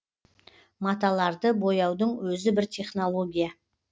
маталарды бояудың өзі бір технология